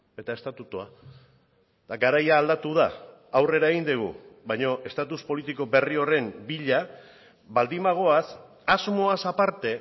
eta estatutua eta garaia aldatu da aurrera egin dugu baina estatus politiko berri horren bila baldin bagoaz asmoaz aparte